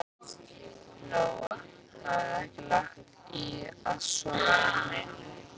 Lóa: Þið hafið ekki lagt í að sofa inni?